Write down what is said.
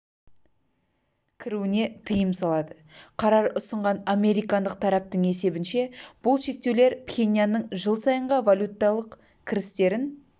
кіруіне тыйым салады қарар ұсынған американдық тараптың есебінше бұл шектеулер пхеньянның жыл сайынға валюталық кірістерін